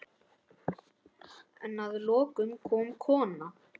En að lokum kom kona.